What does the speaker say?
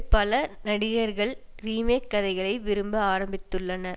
பல நடிகர்கள் ரீமேக் கதைகளை விரும்ப ஆரம்பித்துள்ளனர்